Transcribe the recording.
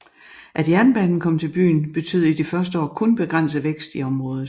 At jernbanen kom til byen betød i de første år kun begrænset vækst i området